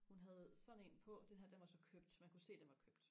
hun havde sådan en på den her den var så købt man kunne se den var købt